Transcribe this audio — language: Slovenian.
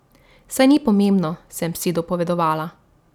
Saj ni pomembno, sem si dopovedovala.